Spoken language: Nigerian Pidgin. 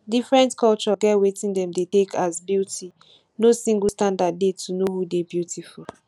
different culture get wetin dem dey take as beauty no single standard dey to know who dey beautiful